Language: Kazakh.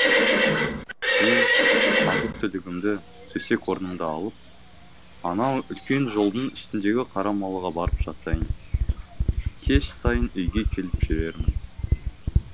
мен азық түлігімді төсек орнымды алып анау үлкен жолдың үстіндегі қара молаға барып жатайын кеш сайын үйге келіп жүрермін